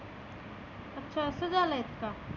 अच्छा असं झालय का?